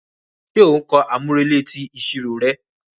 Ṣe o n kọ amurele ti iṣiro rẹ?